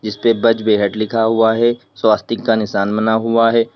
इसपे बज बेहट लिखा हुआ है स्वास्तिक का निशान बना हुआ है।